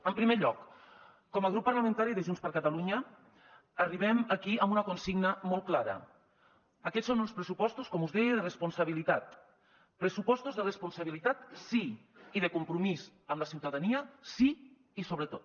en primer lloc com a grup parlamentari de junts per catalunya arribem aquí amb una consigna molt clara aquests són uns pressupostos com us deia de responsabilitat pressupostos de responsabilitat sí i de compromís amb la ciutadania sí i sobretot